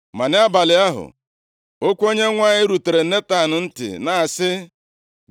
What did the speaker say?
Ma nʼabalị ahụ, okwu Onyenwe anyị rutere Netan ntị, na-asị,